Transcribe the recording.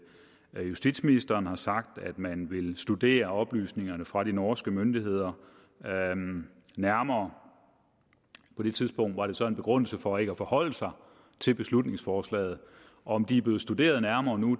justitsministeren har sagt at man vil studere oplysningerne fra de norske myndigheder nærmere på det tidspunkt var det så en begrundelse for ikke at forholde sig til beslutningsforslaget om de er blevet studeret nærmere nu